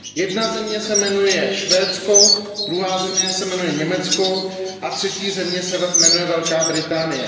Jedna země se jmenuje Švédsko, druhá země se jmenuje Německo a třetí země se jmenuje Velká Británie.